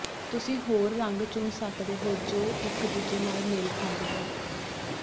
ਤੁਸੀਂ ਹੋਰ ਰੰਗ ਚੁਣ ਸਕਦੇ ਹੋ ਜੋ ਇਕ ਦੂਜੇ ਨਾਲ ਮੇਲ ਖਾਂਦੇ ਹਨ